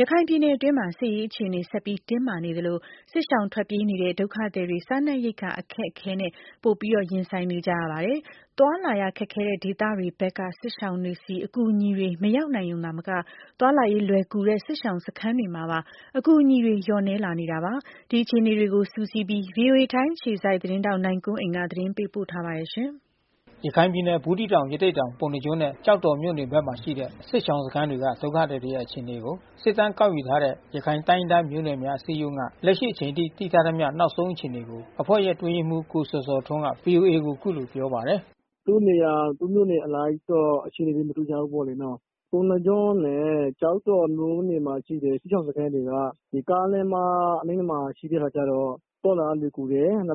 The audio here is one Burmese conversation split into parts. ရခိုင်ပြည်နယ်တွင်းမှာ စစ်ရေးအခြေအနေ ဆက်ပြီးတင်းမာနေသလို စစ်ရှောင်ထွက်ပြေးနေကြရတဲ့ ဒုက္ခသည်တွေ စားနပ်ရိက္ခာ အခက်အခဲနဲ့ ပိုပြီး ရင်ဆိုင်နေကြရပါတယ်။ သွားလာရခက်ခဲတဲ့ဒေသတွေဘက်က စစ်ရှောင်တွေဆီ အကူအညီတွေ မရောက်နိုင် ရုံသာမက သွားလာရေးလွယ်ကူတဲ့ စစ်ရှောင်စခန်းတွေမှာပါ အကူအညီတွေ လျော့နည်းလာနေတာပါ။ ဒီအခြေအနေတွေကို စုစည်းပြီး ဗွီအိုအေ ထိုင်းအခြေစိုက်သတင်းထောက် နိုင်ကွန်းအိမ်က သတင်းပေးပို့ထားပါတယ်။ ရခိုင်ပြည်နယ် ဘူးသီးတောင် ရသေ့တောင် ပုဏ္ဏားကျွန်းနဲ့ကျောက်တော်မြို့နယ်တွေဘက်မှာရှိတဲ့ စစ်ရှောင်စခမ်းတွေက ဒုက္ခသည်တွေရဲ့ အခြေအနေကို စစ်တမ်းကောက်ယူနေတဲ့ ရခိုင်တိုင်းရင်းသားမျိုးနွယ်များ အစည်းအရုံးက လက်ရှိအချိန်ထိ သိထားသမျှ နောက်ဆုံးအခြေအနေကို အဖွဲ့ရဲ့အတွင်းရေးမှူး ကိုဇော်ဇော်ထွန်းက ဗွီအိုအေကို အခုလိုပြောပါတယ်။ “သူတို့နေရာ သူ့မြို့နယ်အလိုက်တော့အခြေအနေမတူကြဘူးပေါ့။ ပုဏ္ဏားကျွန်းနဲ့ကျောက်တော်မြို့နယ် ဘက်မှာရှိတဲ့ စစ်ရှောင်စခန်းတွေက ကားလမ်းမအနီးမှာရှိတဲ့အခါကျတော့ သွားလာရလွယ်ကူတယ်။ လုံ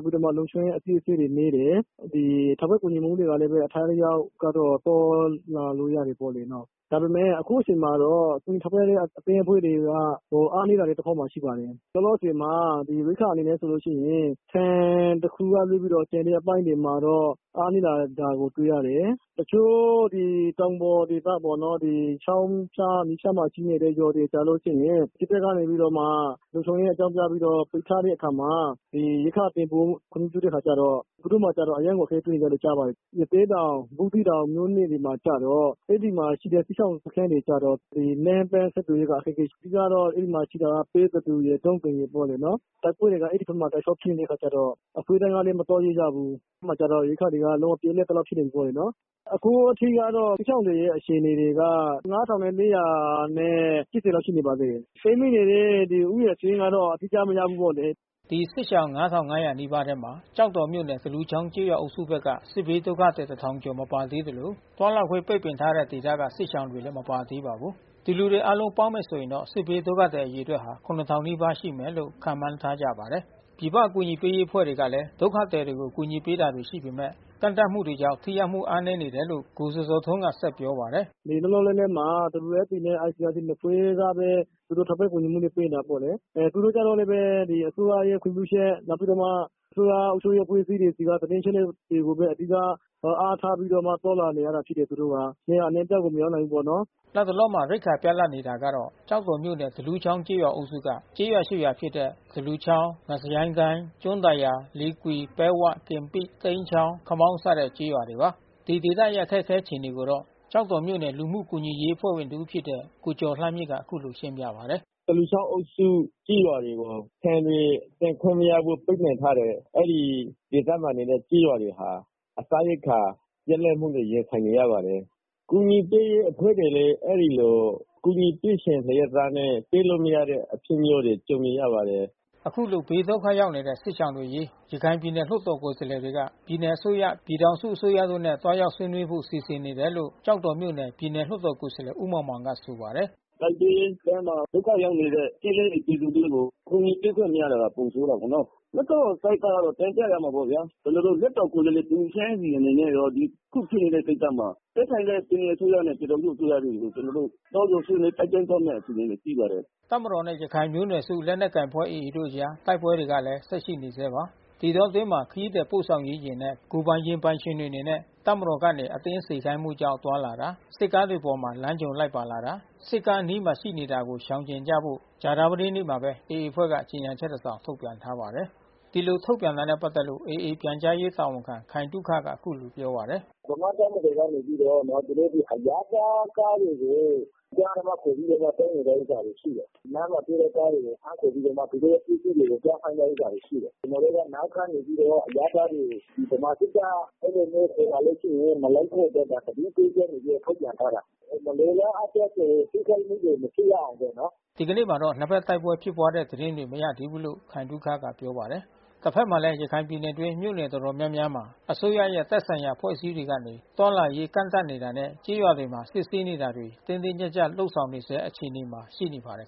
ခြုံရေးအစစ်ဆေးတွေနည်းတယ်။ ထောက်ပံ့ကူညီမှုတွေကတော့အထိုက်အလျှောက် ကတော့သွားလာလို့ရတာပေါ့နော်။ ဒါပေမဲ့အခုအချိန်မှာ တော့ ထောက်ပံ့တဲ့အသင်းအဖွဲ့တွေက အားနည်းလာတဲ့တဖက်မှာလဲရှိပါတယ်။ လောလောဆယ်မှာ ရိက္ခာအနေနဲ့ ဆိုလို့ရှိရင် ဆန်တခုကလွှဲပြီးတော့ကျန်တဲ့အပိုင်းမှာတော့ အားနည်းတာကိုတွေ့ရတယ်။ တချို့ဒီတောင်ပေါ်ဒေသပေါ့နော် ချောင်းဖျား မြစ်ဖျားမှာရှိတဲ့ရွာတွေဆိုလို့ရှိရင် စစ်တပ်ကနေပြီးတော့မှ လုံခြုံရေးအကြောင်းပြပြီးတော့လှုပ်ရှား တဲ့အခါမှာ ရိက္ခာသယ်ဖို့ ခွင့်မပြုတဲ့အခါကျတော့ သူတို့မှာအရမ်းကိုအခက်တွေ့နေတယ်လို့ကြားပါတယ်။ ရသေ့တောင် ဘူးသီးတောင်တွေမှာကျတော့ အဲဒီမှာရှိတဲ့စစ်ရှောင်စခန်း တွေကျတော့ လမ်းပမ်းဆက်သွယ်ရေးအခက်ခဲရှိ။ အဓိကတော့အဲဒီမှာရှိတဲ့ ပဲသဒူရယ် ဒုံးသိမ်ရယ်ပေါ့ နော်။ တိုက်ပွဲတွေကအဲဒီဘက်မှာတောက်လျှောက်ဖြစ်နေတဲ့ အခါကျတော့ အကူညီကလဲမသွားရဲကြဘူး။ အဲဒီမှာကလည်း ပြတ်လတ်သလောက်ဖြစ်နေကြပြီးနော်။ အခုထိကတော့စစ်ရှောင်တွေရဲ့အခြေအနေတွေက ၅၄၈၀ ရှိနေပါသေးတယ်။ ပိတ်မိနေတဲ့ဦးရေစာရင်းကတော့ အတိအကျမရဘူးပေါ့လေ။” အဲဒီ စစ်ရှောင် ၅၅၀၀ နီးပါးထဲမှာ ကျောက်တော်မြို့နယ် သလူချောင်းကျေးရွာအုပ်စုဘက်က စစ်ဘေးဒုက္ခသည် တထောင်ကျော် မပါသေးသလို သွားလာခွင့်ပိတ်ပင်ထားတဲ့ ဒေသတွေက စစ်ရှောင်တွေလည်း မပါသေးပါဘူး။ ဒီလူတွေ အားလုံးပေါင်းမယ် ဆိုရင်တော့ စစ်ဘေးဒုက္ခသည်အရေအတွက်ဟာ ၇၀၀၀ နီးပါးရှိမယ်လို့ ခန့်မှန်းထားကြပါတယ်။ ပြည်ပအကူညီပေးရေးအဖွဲ့တွေကလည်း ဒုက္ခသည်တွေကို အကူအညီပေးတာတွေရှိပေမယ့် ကန့်သတ်မှုတွေကြောင့် ထိရောက်မှုအားနည်းနေတယ်လို့ ကိုဇော်ဇော်ထွန်းကဆက်ပြောပါတယ်။ “လောလောလတ်လတ်မှာ WFPနဲ့ ICRC နှစ်ဖွဲ့ကပဲ သူတို့ထောက်ပံ့ကူညီမှုတွေပေးနေတာပေါ့နော်။ သူတို့ကလဲပဲ အစိုးရရဲ့ခွင့်ပြုချက် နောက်ပြီးတော့အစိုးရအုပ်ချုပ်ရေးအဖွဲ့အစည်းဆီကသတင်းအချက်အလက် တွေကိုဘဲအဓိက အားထားပြီးတော့မှ သွားလာနေရတယ်သူတို့က။ နေရာအနှံ့ပြားကိုမရောက်နိုင်ဘူးပေါ့နော်။” လတ်တလောမှာ ရိက္ခာပြတ်လပ်နေတာကတော့ ကျောက်တော်မြို့နယ် သလူချောင်းကျေးရွာအုပ်စုက ကျေးရွာ ရွာဖြစ်တဲ့ သလူချောင်း ငစရိုင်းကိုင်း၊ ကျွန်းသာယာ၊ လေကွီ၊ ပဲဝ၊ ကင်ပိ၊ သိမ်းချောင်း၊ ခမောင်းစတဲ့ကျေးရွာတွေပါ။ ဒီဒေသတွေရဲ့အခက်ခဲအခြေအနေကိုတော့ ကျောက်တော်မြို့နယ်ဘူမှုကူညီရေးအဖွဲ့ဝင်တဦးဖြစ်တဲ့ ကိုကျော်လှမြင့်က အခုလိုရှင်းပြပါတယ်။ “သလူချောင်းကျေးရွာအုပ်စုတွေကို ဆန်တွေသယ်ယူခွင့်မရဖို့ပိတ်ပင်ထားတယ်။ အဲဒီဒေသမှာနေတဲ့ကျေးရွာတွေဟာ ပစားရိက္ခာပြတ်လတ်မှုနဲ့ရင်ဆိုင်နေရပါတယ်။ အကူညီပေးရေးအဖွဲ့တွေလဲ အဲဒီလို ကူညီပေးချက်လျှက်နဲ့ ပေးလို့မရတဲ့ အဖြစ်မျိုးနဲ့ကြုံနေရပါတယ်။” အခုလို ဘေးဒုက္ခရောက်နေတဲ့ စစ်ရှောင်တွေအရေး ရခိုင်ပြည်နယ်လွှတ်တော်ကိုယ်စားလှယ်တွေက ပြည်နယ်အစိုးရ၊ ပြည်ထောင်စုအစိုးရတို့နဲ့ သွားရောက်ဆွေးနွေး ဖို့စီစဉ်နေတယ်လို့ ကျောက်တော်မြို့နယိ ပြည်နယ်လွှတ်တော်ကိုယ်စားလှယ် ဦးမောင်မောင်ကဆိုပါတယ်။ “တိုက်ပွဲထဲမှာဒုက္ခရောက်နေတဲ့ ကျေးလက်နေပြည်သူတွေကို ကူညီပေးခွင့်မရတာပိုဆိုးတာပေါ့နော်။ လွှတ်တော်ဘက် ကတော့တင်ပြရမှာပေါ့ဗျာ။ ကျွန်တော်တို့လွှတ်တော်ကိုယ်စားလှယ်တဦးချင်းအနေနဲ့ရော ခုဖြစ်နေတဲ့ကိစ္စမှာသက်ဆိုင် ရာ ပြည်နယ်အစိုးရနဲ့ပြည်ထောင်စုအစိုးရတို့ကို ကျွန်တော်တို့သွားပြီးတော့တိုက်တွန်းဆွေးနွေးသွားမဲ့ အစီစဉ်တွေ ရှိပါတယ်။” တပ်မတော်နဲ့ ရခိုင်လူမျိုးစုလက်နက်ကိုင်အဖွဲ့ AA တို့အကြား တိုက်ပွဲတွေကလည်း ဆက်ရှိနေဆဲပါ။ ဒီအတောအတွင်းမှာပဲ ခရီးသည်ပို့ဆောင်ရေးယာဉ်တွေနဲ့ကိုယ်ပိုင်ယာဉ်ပိုင်ရှင်တွေအနေနဲ့ တပ်မတော်ကနေအတင်းစေခိုင်းမှုကြောင့်သွားလာတာ စစ်ကားတွေအပေါ်လမ်းကြုံလိုက်ပါတာ စစ်ကားအနီးမှာ ရှိနေတာကိုရှောင်ကြဉ်ကြဖို့ ကြာသပတေးနေ့မှာပဲ AA အဖွဲ့က ကြေညာ ချက်တစောင်ထုတ်ပြန်ထားပါတယ်။ ဒီလိုထုတ်ပြန်တာနဲ့ပတ်သက်လို့AA ပြန်ကြားရေးတာဝန်ခံခိုင်သုခကအခုလိုပြောပါတယ်။ “ဗမာ့တပ်မတော်ကနေပြီးတော့နော် အရပ်သားကားတွေကို အတင်းအဓမ္မခေါ်ပြီးတော့သုံးနေတဲ့ဥစ္စာရှိတယ်။ လမ်းမှာ တွေ့တဲ့ကားတွေကိုဖမ်းခေါ်ပြီးမှ သူတို့ပစ္စည်းတွေကိုသွားခိုင်းတဲ့ဥစ္စာတွေရှိတယ်။ ကျွန်တော်တို့ကနောက်ထပ် နေ ပြီးတော့ အရပ်သားတွေကို ဗမာစစ်တပ် အဲဒီလိုမျိုးခေါ်လာလို့ရှိရင်မလိုက်ဖို့အတွက်က သတိပေးချက်နေပြီး တော့ ထုတ်ပြန်ထားတာ။ မလိုလားအပ်တဲ့ထိခိုက်မှုတွေမဖြစ်ရအောင်ပေါ့။” ဒီကနေ့မှာတော့ နှစ်ဖက်တိုက်ပွဲဖြစ်ပွါးတဲ့သတင်းတွေ မရသေးဘူးလို့ ခိုင်သုခကပြောပါတယ်။ တဖက်မှာလဲ ရခိုင်ပြည်နယ်တွင်း မြို့နယ်တော်တော်များများမှာ အစိုးရရဲ့သက်ဆိုင်ရာအဖွဲ့အစည်းတွေကနေ သွားလာရေးကန့်သတ်တာနဲ့ ကျေးရွာတွေမှာ စစ်ဆေးတာတွေကို တင်းတင်းကျပ်ကျပ် လုပ်ဆောင်နေဆဲ အခြေအနေမှာရှိပါတယ်